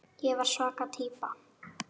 Ég var svaka týpa.